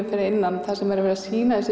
fyrir innan þar sem er verið að sýna þessi